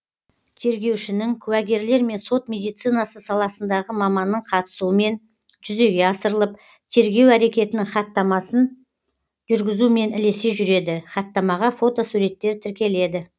тергеушінің куәгерлер мен сот медицинасы саласындағы маманның қатысуымен жүзеге асырылып тергеу әрекетінің хаттамасын жүргізумен ілесе жүреді хаттамаға фотосуреттер тіркеледі